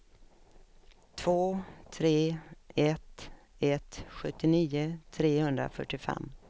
två tre ett ett sjuttionio trehundrafyrtiofem